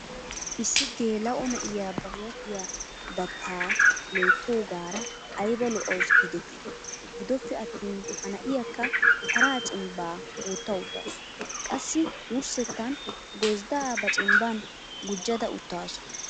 Issi gelao na'iyaa ba huuphphiyaa datta loyttoogaara aybba lo'awusu giideti. Giddoppe attin ha na'iyaakka paraa cimbba wotta uttasu. Qassi wurssettan gozzda ba cimban gujjada uttasu.